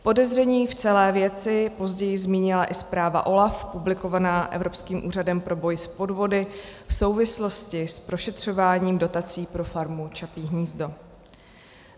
Podezření v celé věci později zmínila i zpráva OLAF publikovaná Evropským úřadem pro boj s podvody v souvislosti s prošetřováním dotací pro farmu Čapí hnízdo.